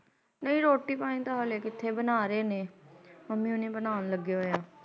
ਨਹੀਂ ਰੋਟੀ ਪਾਣੀ ਹੱਲੇ ਕਿਥੇ, ਹੱਲੇ ਤਾਹਿਂ ਬਣਾ ਰੇ ਨੇ, ਮੰਮੀ ਹੋਣੀ ਬੱਣਾਂਨ ਲਗੇ ਹੋਏ ।